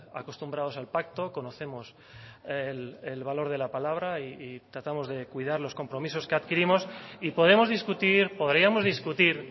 acostumbrados al pacto conocemos el valor de la palabra y tratamos de cuidar los compromisos que adquirimos y podemos discutir podríamos discutir